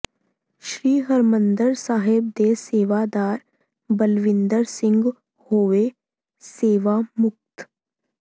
ਸ੍ਰੀ ਹਰਿਮੰਦਰ ਸਾਹਿਬ ਦੇ ਸੇਵਾਦਾਰ ਬਲਵਿੰਦਰ ਸਿੰਘ ਹੋਏ ਸੇਵਾ ਮੁਕਤ